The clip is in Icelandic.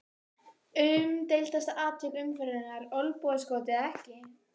Umdeildasta atvik umferðarinnar: Olnbogaskot eða ekki?